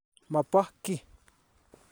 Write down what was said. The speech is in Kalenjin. Ma po ki.